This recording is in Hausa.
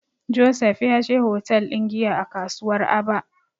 Joseph ya je hotel ɗin giya a kasuwar Aba.